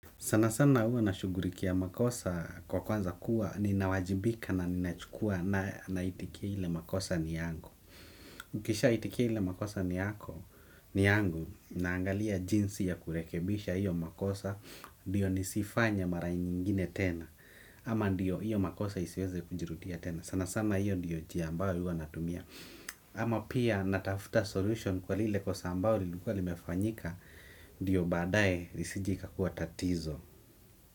Sana sana huwa nashughulikia makosa kwa kwanza kuwa ninawajibika na ninachukua na naitikia ile makosa ni yangu. Ukishaitikia ile makosa ni yangu naangalia jinsi ya kurekebisha hiyo makosa ndiyo nisiifanye mara ingine tena. Ama ndiyo hiyo makosa isiweze kujirudia tena. Sana sana hiyo ndiyo njia ambayo huwa natumia. Ama pia natafta solution kwa lile kosa ambayo lilikuwa limefanyika. Ndiyo badaye lisije ikakuwa tatizo.